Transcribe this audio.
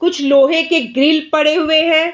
कुछ लोहे के ग्रिल पड़े हुए हैं।